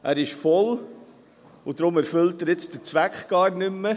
Er ist voll, und deshalb erfüllt er jetzt den Zweck gar nicht mehr.